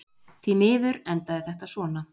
Því miður endaði þetta svona.